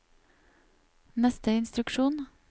neste instruksjon